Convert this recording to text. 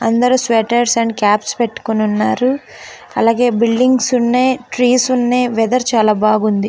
అందరూ sweaters and caps పెట్టుకుని ఉన్నారు అలాగే బిల్డింగ్స్ ఉన్నాయ్ ట్రీస్ ఉన్నాయ్ వీధేర్ చాలా బాగుంది .